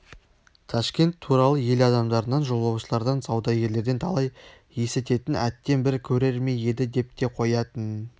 ташкент туралы ел адамдарынан жолаушылардан саудагерлерден талай есітетін әттең бір көрер ме еді деп те қоятын